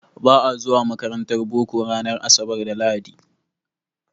Ba a zuwa makarantar boko ranar asabar da lahadi.